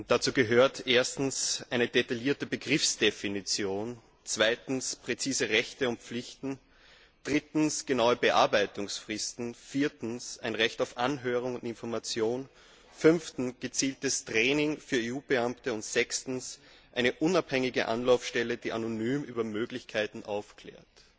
Dazu gehören erstens eine detaillierte Begriffsdefinition, zweitens präzise Rechte und Pflichten, drittens genaue Bearbeitungsfristen, viertens ein Recht auf Anhörung und Information, fünftens gezieltes Training für EU Beamte und sechstens eine unabhängige Anlaufstelle, die anonym über Möglichkeiten aufklärt.